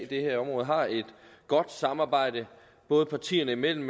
det her område har et godt samarbejde både partierne imellem